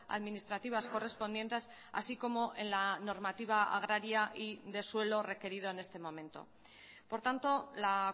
administrativas correspondientes así como en la normativa agraria y de suelo requerido en este momento por tanto la